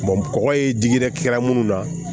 kɔgɔ ye digi kɛra munnu na